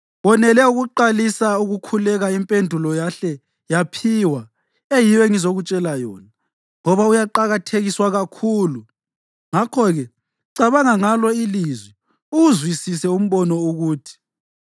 Wonele ukuqalisa ukukhuleka impendulo yahle yaphiwa, eyiyo engizokutshela yona, ngoba uyaqakathekiswa kakhulu. Ngakho-ke, cabanga ngalo ilizwi, uwuzwisise umbono ukuthi: